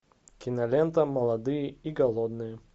кинолента молодые и голодные